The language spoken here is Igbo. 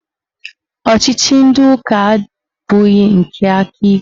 Ọchịchị ndị ụka abụghị nke aka ike